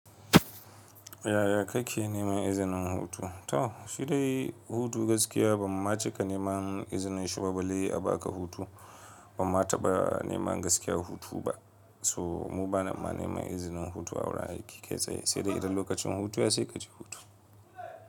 Yaya ka ke neman izinin hutu? To, shi dai hutu gaskiya ban ma cika nema izinin shiba balle a ba ka hutu ban mataba nema gaskiya hutu ba. So mu bana ma nema izinin hutu ahurin aiki kai tsaye sai dai idan lokacin hutun ya kai kaje hutu.